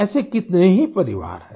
ऐसे कितने ही परिवार हैं